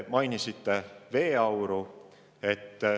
Mainisite veeauru.